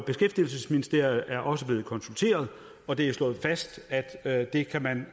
beskæftigelsesministeriet er også blevet konsulteret og det er slået fast at det kan man